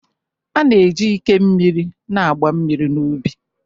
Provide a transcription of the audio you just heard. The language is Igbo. A na-eji ike mmiri na-agba mmiri n'ubi